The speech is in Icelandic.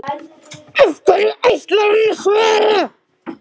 Hverju ætlar hann að svara?